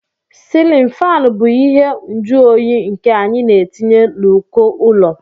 silin fán bụ ihe mjuonyi nke anyị na-etinye n'uko ụlọ